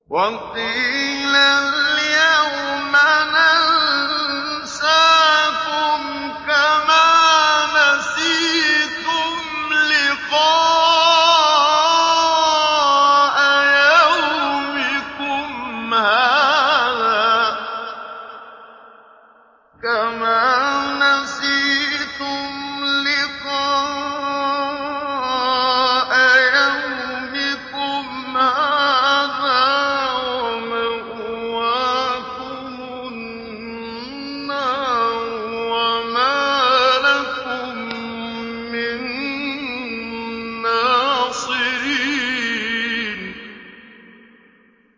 وَقِيلَ الْيَوْمَ نَنسَاكُمْ كَمَا نَسِيتُمْ لِقَاءَ يَوْمِكُمْ هَٰذَا وَمَأْوَاكُمُ النَّارُ وَمَا لَكُم مِّن نَّاصِرِينَ